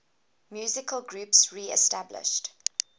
musical groups reestablished